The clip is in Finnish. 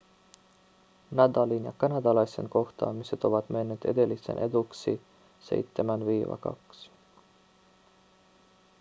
nadalin ja kanadalaisen kohtaamiset ovat menneet edellisen eduksi 7-2